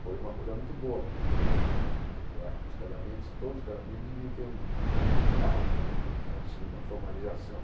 Foi uma coisa muito boa, porque eu acho que os casamentos todos os casamentos deviam ter um um estágio antes antes de uma formalização.